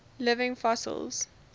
living fossils